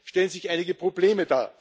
Dennoch ergeben sich einige Probleme.